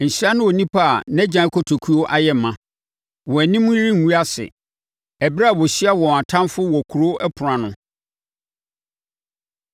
Nhyira ne onipa a nʼagyan kotokuo ayɛ ma. Wɔn anim rengu ase ɛberɛ a wɔahyia wɔn atamfoɔ wɔ kuro ɛpono ano.